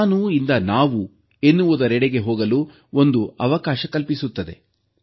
ನಾನು ಎಂಬುದರಿಂದ ನಾವು ಎನ್ನುವುದರೆಡೆಗೆ ಹೋಗಲು ಒಂದು ಅವಕಾಶ ಕಲ್ಪಿಸುತ್ತದೆ